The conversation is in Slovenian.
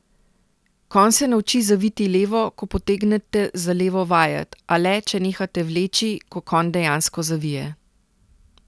Konj se nauči zaviti levo, ko potegnete za levo vajet, a le, če nehate vleči, ko konj dejansko zavije.